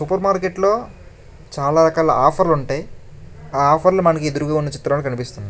Super మార్కెట్లో చాలా రకాల ఆఫర్లు ఉంటాయి ఆఫర్లు మనకు ఎదురుగుండా చిత్రంలో కనిపిస్తూ ఉన్నాయి.